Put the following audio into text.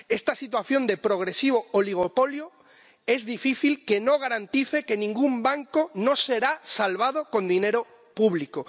Esta situación de progresivo oligopolio es difícil que no garantice que ningún banco no será salvado con dinero público.